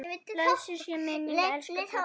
Blessuð sé minning elsku pabba.